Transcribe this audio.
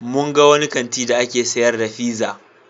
Mun ga wani kanti da ake sayar da pizza.